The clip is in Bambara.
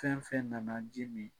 Fɛn fɛn nana jimi.